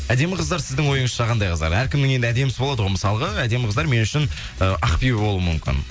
әдемі қыздар сіздің ойыңызша қандай қыздар әркімнің енді әдемісі болады ғой мысалға әдемі қыздар мен үшін ы ақбибі болуы мүмкін